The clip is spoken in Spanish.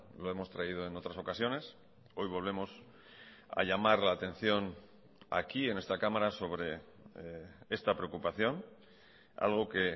lo hemos traído en otras ocasiones hoy volvemos a llamar la atención aquí en esta cámara sobre esta preocupación algo que